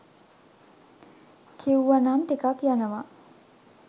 කිව්වනම් ටිකක් යනව